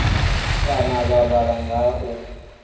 kana vha vhala nga u